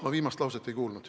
Ma viimast lauset ei kuulnud.